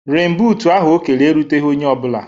Renbuut ahụ o kere eruteghị onye ọ bụla